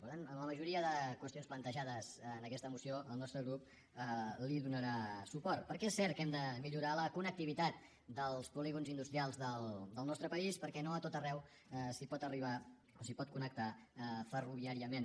per tant a la majoria de qüestions plantejades en aquesta moció el nostre grup hi donarà suport perquè és cert que hem de millorar la connectivitat dels polígons industrials del nostre país perquè no a tot arreu s’hi pot arribar o s’hi pot connectar ferroviàriament